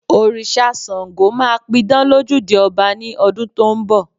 Òrìṣà Ṣàngó máa pidán lójúde ọba ní ọdún tó ń bọ̀